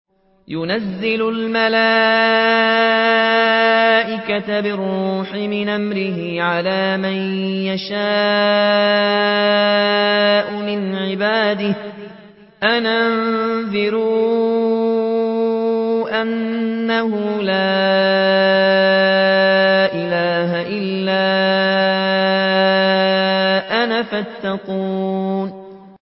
يُنَزِّلُ الْمَلَائِكَةَ بِالرُّوحِ مِنْ أَمْرِهِ عَلَىٰ مَن يَشَاءُ مِنْ عِبَادِهِ أَنْ أَنذِرُوا أَنَّهُ لَا إِلَٰهَ إِلَّا أَنَا فَاتَّقُونِ